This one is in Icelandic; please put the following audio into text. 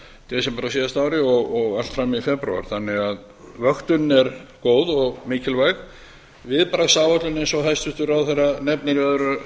desember á síðasta ári og allt fram í febrúar þannig að vöktunin er góð og mikilvæg viðbragðsáætlunin eins og hæstvirtur ráðherra nefnir í öðru